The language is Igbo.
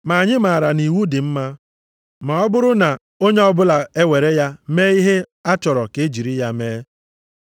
Ma anyị maara na iwu dị mma, ma ọ bụrụ na onye ọbụla ewere ya mee ihe a chọrọ ka e jiri ya mee.